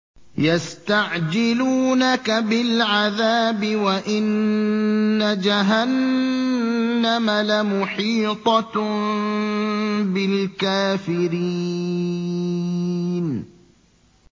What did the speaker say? يَسْتَعْجِلُونَكَ بِالْعَذَابِ وَإِنَّ جَهَنَّمَ لَمُحِيطَةٌ بِالْكَافِرِينَ